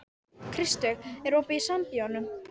Kristveig, er opið í Sambíóunum?